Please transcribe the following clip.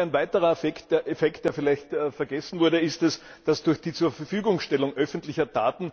Ein weiterer Effekt, der vielleicht vergessen wurde, ist es, dass der Bürger durch die Bereitstellung öffentlicher Daten